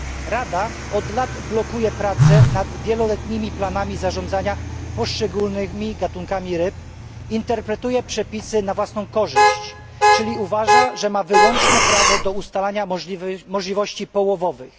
Rada od lat blokuje prace nad wieloletnimi planami zarządzania poszczególnymi gatunkami ryb, interpretuje przepisy na własną korzyść, czyli uważa, że ma wyłączne prawo do ustalania możliwości połowowych.